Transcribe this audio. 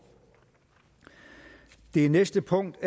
det næste punkt